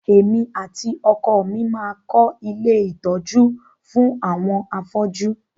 Èmi àti ọkọ mi máa kọ́ ilé ìtọjú àwọn àwọn afọ́ju.